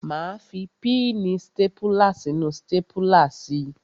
Máa fi píìnì stápùlà sínú stápùlà si.